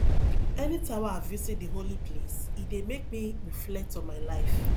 anytime wey i visit di holy place e dey make me reflect on my life